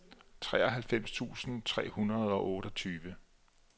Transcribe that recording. treoghalvfems tusind tre hundrede og otteogtyve